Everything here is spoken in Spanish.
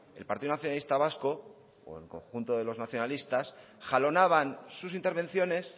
el partido nacionalista vasco o el conjunto de los nacionalistas jalonaban sus intervenciones